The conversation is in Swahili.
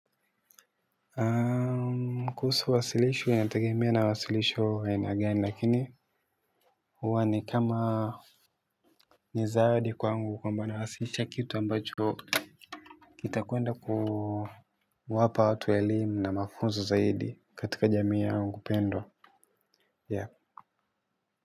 Kuhusu wasilisho inategemea na wasilisho aina gani lakini huwa ni kama nizaadi kwaangu kwa mbana hasicha kitu ambacho kitakuenda kuu wapa watu elimu na mafunzo zaidi katika jamii yangu pendwa.